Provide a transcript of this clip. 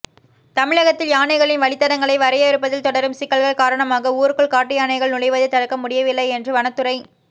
தமிழகத்தில் யானைகளின் வழித்தடங்களை வரையறுப்பதில் தொடரும் சிக்கல்கள் காரணமாக ஊருக்குள் காட்டு யானைகள் நுழைவதை தடுக்க முடியவில்லை என்று வனத்துறை